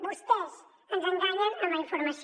vostès ens enganyen amb la informació